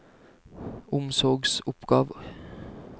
omsorgsoppgaver